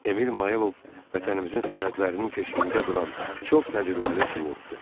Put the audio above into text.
Emil Mayor, Vətənimizin sərhədlərinin keşiyində duran çox təcrübəli pilotdur.